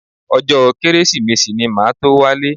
Ọjọ́ Kérésìmesì ni màá tó wálé